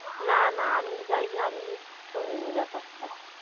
না না আমিই যায়নি আমিই শুনিনি বাপার তা